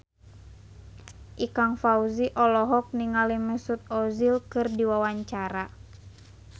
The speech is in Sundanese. Ikang Fawzi olohok ningali Mesut Ozil keur diwawancara